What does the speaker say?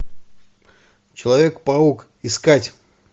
человек паук искать